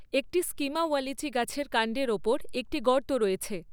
একটি Schima wallichii গাছের কান্ডের ওপর একটি গর্ত রয়েছে।